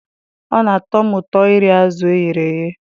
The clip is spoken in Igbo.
Ọ na-atọ m ụtọ iri azụ̀ e ghere eghe.